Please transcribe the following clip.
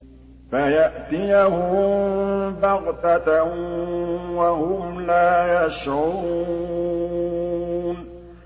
فَيَأْتِيَهُم بَغْتَةً وَهُمْ لَا يَشْعُرُونَ